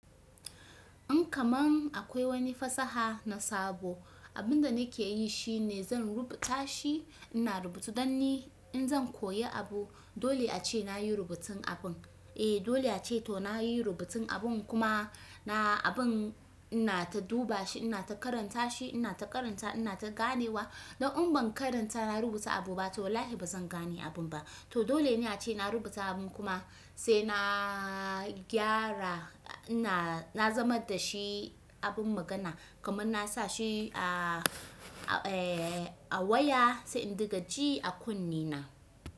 In kaman akwai wani fasaha na sabo, abun da nakeyi shine zan rubuta shi ina rubutu dan in zan koyi abu dole ace nayi rubutun abun. Eh dole ace to nayi rubutun abun kuma na abin ina ta duba shi, ina ta karanta shi, ina ta karanta, ina ta ganewa. Don in ban karanta na rubuta abu ba toh wallahi ba zan gane abun ba. To dole ne ace na rubuta abun kuma sai na gyara ina na zama da shi abin magana kamar na sa shi a, a waya sai in daga ji a kunne na.